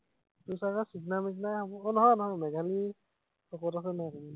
তোৰ চাগে শুকনা মোকনাই হব, আহ নহয় নহয়, মেঘালী শকত আছে নহয়।